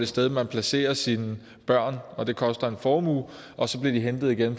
sted man placerer sine børn og hvor det koster en formue og så bliver de hentet igen